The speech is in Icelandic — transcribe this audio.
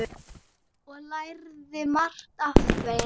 Ég lærði margt af þeim.